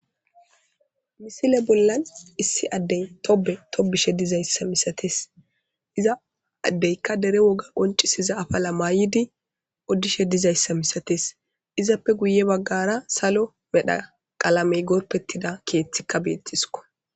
Misile bollan issi addey tobe tobishe dizayssa misates iza addeykka dere woga qoncisiza afala maay'idi oddishe dizayssa misates izappe guye baggara salo medha qalamey gorpettida keeththikka beettisko.